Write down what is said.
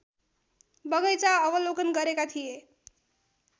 बगैंचा अवलोकन गरेका थिए